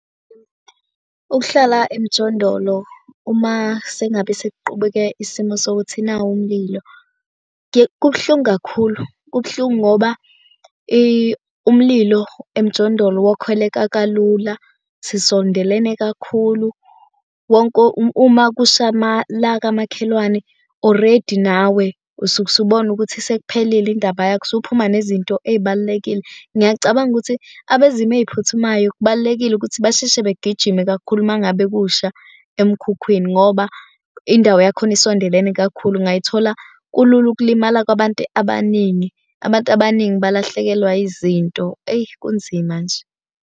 Ukuhlala emjondolo uma sengabe sequbeke isimo sokuthi nawu umlilo, kubuhlungu kakhulu kubuhlungu ngoba umlilo emjondolo wokhweleka kalula sisondelene kakhulu. Wonke uma kusha la kamakhelwane oredi nawe usuke usubona ukuthi sekuphelile indaba yakho usuphuma nezinto ezibalulekile. Ngiyacabanga ukuthi abezimo eziphuthumayo kubalulekile ukuthi basheshe begijime kakhulu uma ngabe kusha emkhukhwini, ngoba indawo yakhona isondelene kakhulu. Ungayithola kulula ukulimala kwabantu abaningi. Abantu abaningi balahlekelwa izinto eyi kunzima nje.